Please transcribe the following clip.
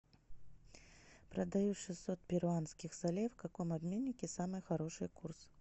продаю шестьсот перуанских солей в каком обменнике самый хороший курс